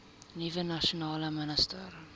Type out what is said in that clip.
nuwe nasionale minister